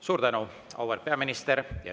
Suur tänu, auväärt peaminister!